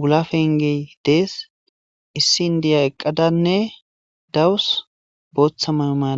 wula fengey dees issi indiya eqqadanne dawus booththa mayo madaa